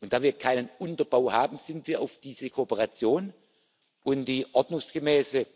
und da wir keinen Unterbau haben, sind wir auf diese Kooperation und die ordnungsgemäße